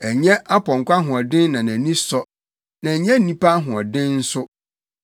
Ɛnyɛ ɔpɔnkɔ ahoɔden na nʼani sɔ na ɛnyɛ onipa ahoɔden nso.